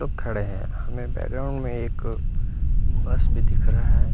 लोग खड़े हैं मैं बैठा हूँ मैं एक बस भी दिख रहा है।